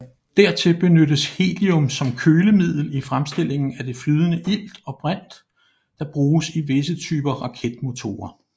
Dertil benyttes helium som kølemiddel i fremstillingen af det flydende ilt og brint der bruges i visse typer raketmotorer